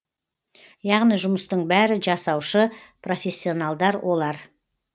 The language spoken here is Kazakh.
яғни жұмыстың бәрі жасаушы профессионалдар олар